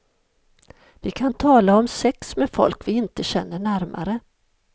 Vi kan tala om sex med folk vi inte känner närmare.